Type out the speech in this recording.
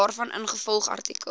daarvan ingevolge artikel